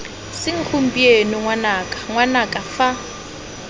seng gompieno ngwanaka ngwanaka fa